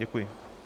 Děkuji.